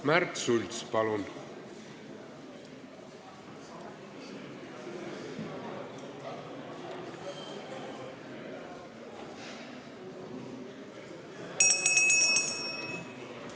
Märt Sults, palun!